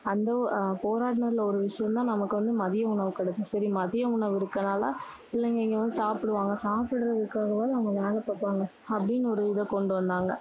அந்த ஒ~ போராடுனதுல ஒரு விஷயம் தான் நமக்கு வந்து மதிய உணவு கிடைத்தது. சரி மதிய உணவு இருக்கனால, பிள்ளைங்க இங்க வந்து சாப்பிடுவாங்க. சாப்பிடுறதுக்காகவாவது அவங்க வேலை பாப்பாங்க, அப்படின்னு ஒரு இதை கொண்டு வந்தாங்க.